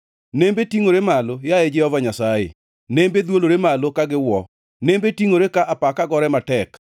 Nembe tingʼore malo, yaye Jehova Nyasaye, nembe dhwolore malo ka giwuo; nembe tingʼore ka apaka gore matek.